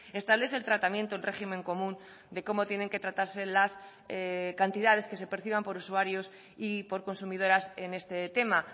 establece el tratamiento en régimen común de cómo tienen que tratarse las cantidades que se perciban por usuarios y por consumidoras en este tema